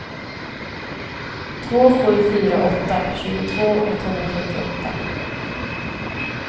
två sju fyra åtta tjugotvå etthundrasjuttioåtta